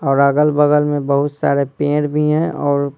और अगल-बगल में बहुत सारे पेड़ भी हैं और--